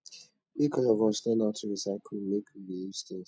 make all of us learn how to recycle make we reuse tins